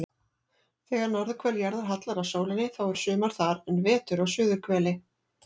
Þegar norðurhvel jarðar hallar að sólinni þá er sumar þar en vetur á suðurhveli.